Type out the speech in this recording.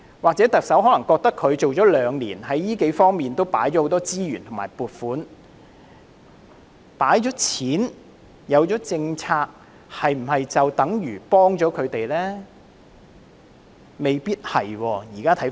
可能特首認為上任兩年，在這數方面已投放很多資源和撥款，但有撥款和政策是否便等於幫助他們呢？